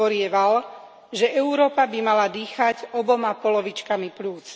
hovorieval, že Európa by mala dýchať oboma polovičkami pľúc.